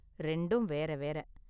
ரெண்டும் வேற வேற.